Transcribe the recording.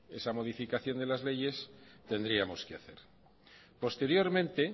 esa modificación de la leyes tendríamos que hacer posteriormente